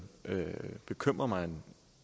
bekymrer mig en